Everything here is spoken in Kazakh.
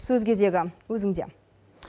сөз кезегі өзінде